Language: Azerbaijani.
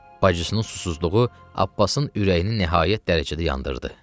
Bacısının susuzluğu Abbasın ürəyini nəhayət dərəcədə yandırdı.